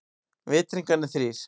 Vitringarnir þrír.